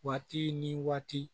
Waati ni waati